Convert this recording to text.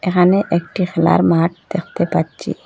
এখানে একটি খেলার মাঠ দেখতে পাচ্চি।